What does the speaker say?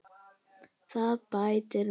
Þetta bætir mig.